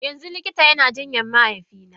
Yanzu likita yana jinyar mahaifina?